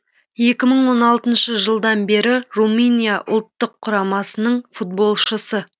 екі мың он алтыншы жылдан бері румыния ұлттық құрамасының футболшысы